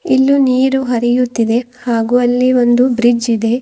ಇನ್ನೂ ನೀರು ಹರಿಯುತ್ತಿದೆ ಹಾಗು ಅಲ್ಲಿ ಒಂದು ಬ್ರಿಡ್ಜ್ ಇದೆ.